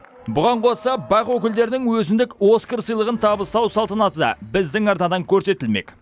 бұған қоса бақ өкілдерінің өзіндік оскар сыйлығын табыстау салтанаты да біздің арнадан көрсетілмек